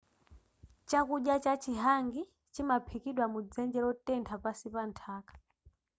chakudya cha chi hangi chimaphikidwa mudzenje lotentha pansi pa nthaka